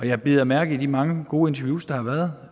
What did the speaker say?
jeg bider mærke i de mange gode interviews der har været